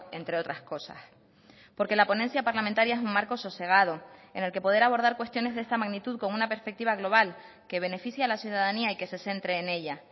entre otras cosas porque la ponencia parlamentaria es un marco sosegado en el que poder abordar cuestiones de esta magnitud con una perspectiva global que beneficia a la ciudadanía y que se centre en ella